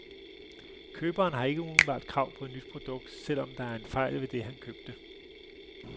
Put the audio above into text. Køberen har ikke umiddelbart krav på et nyt produkt, selv om der er en fejl ved det, han købte.